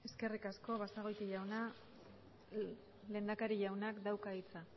eskerrik asko basagoiti jauna lehendakari jaunak dauka hitza